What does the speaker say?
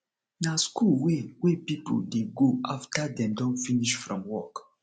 na school wey wey pipo dey go after dem don finish from work